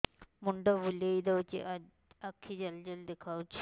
ମୁଣ୍ଡ ବୁଲେଇ ଦଉଚି ଆଖି ଜାଲି ଜାଲି ଦେଖା ଯାଉଚି